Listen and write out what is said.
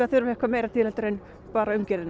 þurfa eitthvað meira til en bara umgjörðina